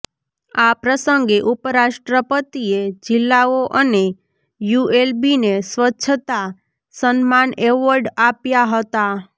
આ પ્રસંગે ઉપરાષ્ટ્રપતિએ જિલ્લાઓ અને યુએલબીને સ્વચ્છતા સન્માન એવોર્ડ આપ્યા હતા